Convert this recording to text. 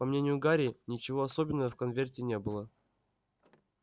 по мнению гарри ничего особенного в конверте не было